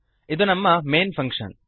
ಇದು ನಮ್ಮ main function